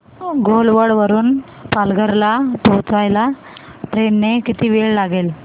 घोलवड वरून पालघर ला पोहचायला ट्रेन ने किती वेळ लागेल